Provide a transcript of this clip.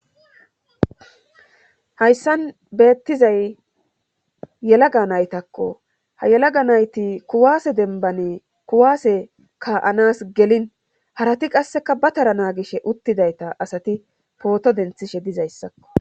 Hayssan beettizay yelaga naytakko ha yelaga nayti kuwaase denbani kuwaase ka'anas gelin harati qasseka ba tara naagish uttidayta asati pooto denthishe dizayssakko.